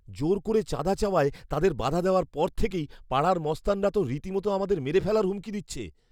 জোর করে চাঁদা চাওয়ায় তাদের বাধা দেওয়ার পর থেকেই পাড়ার মস্তানরা তো রীতিমতো আমাদের মেরে ফেলার হুমকি দিচ্ছে!